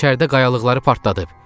İçəridə qayalıqları partladıb.